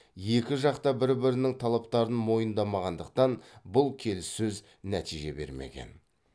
екі жақ та бір бірінің талаптарын мойындамағандықтан бұл келеіссөз нәтиже бермеген